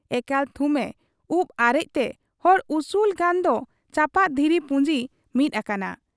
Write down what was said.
ᱮᱠᱟᱞ ᱛᱷᱩᱢ ᱮ ᱩᱵ ᱟᱨᱮᱡᱽ ᱛᱮ ᱦᱚᱲ ᱩᱥᱩᱞ ᱜᱟᱱ ᱫᱚ ᱪᱟᱯᱟᱫ ᱫᱷᱤᱨᱤ ᱯᱩᱸᱡᱤ ᱢᱤᱫ ᱟᱠᱟᱱᱟ ᱾